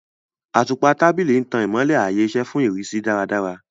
Àtùpà tábìlì ń tan ìmọ́lẹ̀ ààyè-iṣẹ́ fún ìrísí dáradára.